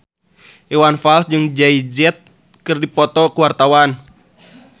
Iwan Fals jeung Jay Z keur dipoto ku wartawan